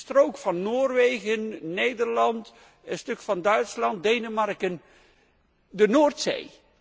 De strook van Noorwegen, Nederland, een stuk van Duitsland, Denemarken, kortom de Noordzee.